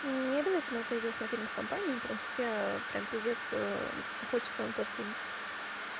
необязательно это идёшь на фильм с компанией и потому что тебе прямо п хочется на тот фильм